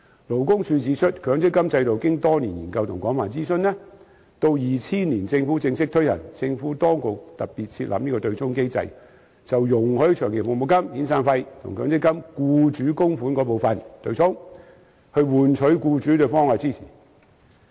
勞工處指出，強積金制度經多年研究和廣泛諮詢，到2000年政府正式推行，政府當局特別設立對沖機制，容許長期服務金及遣散費與強積金僱主供款部分對沖，以換取僱主對制度的支持。